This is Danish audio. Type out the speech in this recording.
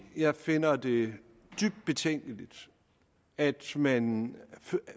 jeg finder det dybt betænkeligt at man